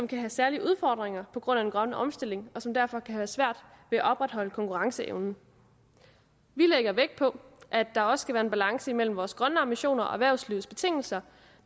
kan have særlige udfordringer på grund af den grønne omstilling og som derfor kan have svært ved at opretholde konkurrenceevnen vi lægger vægt på at der også skal være en balance imellem vores grønne ambitioner og erhvervslivets betingelser